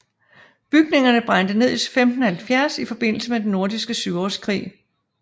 Bygningerne brændte ned i 1570 i forbindelse med Den Nordiske Syvårskrig